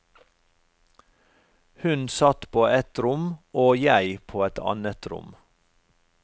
Hun satt på ett rom og jeg på et annet rom.